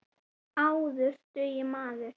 Áður dugði maður.